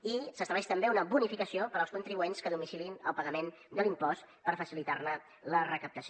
i s’estableix també una bonificació per als contribuents que domiciliïn el pagament de l’impost per facilitar ne la recaptació